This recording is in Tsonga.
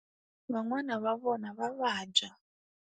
Van'wana va vona va vabya.